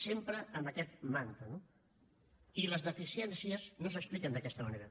sempre amb aquest mantra no i les deficiències no s’expliquen d’aquesta manera